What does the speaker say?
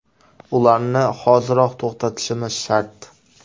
Ularni hoziroq to‘xtatishimiz shart.